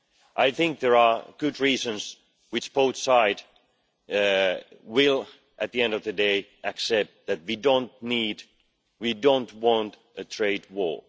I think there are good reasons which both sides will, at the end of the day, accept that we don't need and we don't want a trade war.